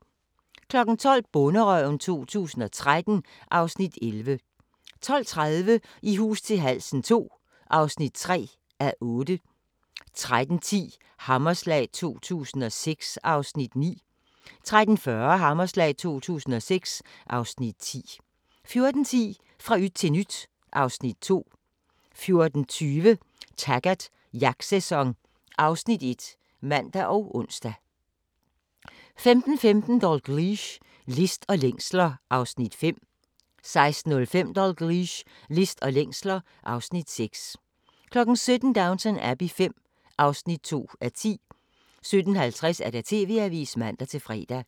12:00: Bonderøven 2013 (Afs. 11) 12:30: I hus til halsen II (3:8) 13:10: Hammerslag 2006 (Afs. 9) 13:40: Hammerslag 2006 (Afs. 10) 14:10: Fra yt til nyt (Afs. 2) 14:20: Taggart: Jagtsæson (Afs. 1)(man og ons) 15:15: Dalgliesh: List og længsler (Afs. 5) 16:05: Dalgliesh: List og længsler (Afs. 6) 17:00: Downton Abbey V (2:10) 17:50: TV-avisen (man-fre)